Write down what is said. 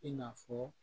I n'a fɔ